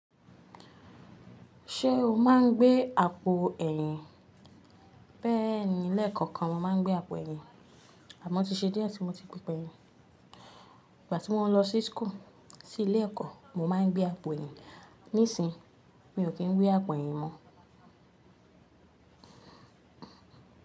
Ṣé o máa ń gbé àpò ẹ̀yìn? Bẹ́ẹ̀ni, lẹ́ẹ̀kọ̀kan mo má ń gbé àpò ẹ̀yìn, àmọ́ ti ṣe dié tí mo ti pípa ẹ̀yìn. Ìgbà tí mo ń lọ sí school, sí ilé ẹ̀kọ́ mo má ń gbé àpò ẹ̀yìn, nísìí mi ò kí ń gbé àpò ẹ̀yìn mọ́.